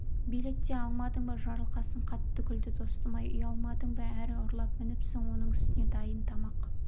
билет те алмадың ба жарылқасын қатты күлді достым-ай ұялмадың ба әрі ұрлап мініпсің оның үстіне дайын тамақ